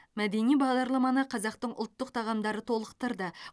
мәдени бағдарламаны қазақтың ұлттық тағамдары толықтырды